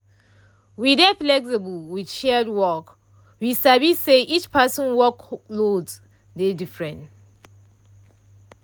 we dey flexible with shared work we sabi say each person workloads dey different